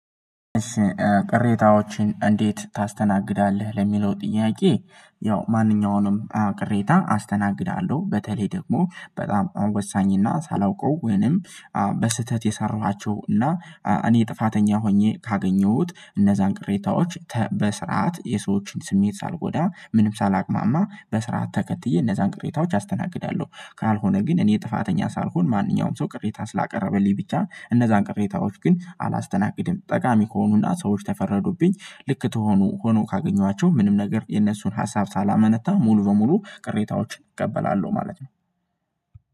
እሺ ቅሬታዎችን እንዴት ታስተናግዳለህ ለሚለው ጥያቄ? ያው ማንኛውንም ቅሬታ አስተናግዳለሁ በተለይ ደግሞ በጣም ወሳኝ እና ሳላውቀው ወይንም በስህተት የሰራኋቸው እና እኔ ጥፋተኛ ሆኜ ካገኘሁት እነዛን ቅሬታዎች በስርዓት የሰዎችን ስሜት ሳልጎዳ ምንም ሳላቅማማ በስርዓት ተከትዬ እነዛን ቅሬታዎች አስተናግዳለሁ። ካልሆነ ግን እኔ ጥፋተኛ ሳልሆን ማንኛውም ሰው ቅሬታ ስላቀረበልኝ ብቻ እነዛን ቅሬታዎች ግን አላስተናግድም። ጠቃሚ ከሆኑና ሰዎች ተፈረዱብኝ ልክ ተሆኑ ሆኖ ካገኟቸው ምንም ነገር የነሱን ሀሳብ ሳላመነታ ሙሉ በሙሉ ቅሬታዎችን እቀበላለሁ ማለት ነው።